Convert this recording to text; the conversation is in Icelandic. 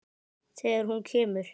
Þegar hún kemur.